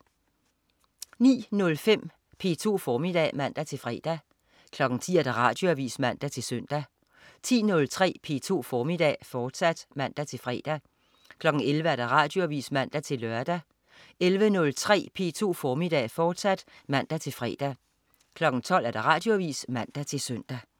09.05 P2 formiddag (man-fre) 10.00 Radioavis (man-søn) 10.03 P2 formiddag, fortsat (man-fre) 11.00 Radioavis (man-lør) 11.03 P2 formiddag, fortsat (man-fre) 12.00 Radioavis (man-søn)